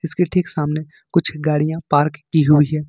इसके ठीक सामने कुछ गाड़ियां पार्क की हुई है।